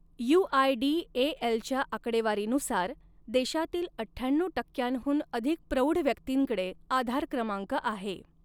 य़ूआयडीएएलच्या आकडेवारीनुसार, देशातील अठ्ठ्याण्णऊ टक्क्यांहून अधिक प्रौढ व्यक्तींकडे आधार क्रमांक आहे.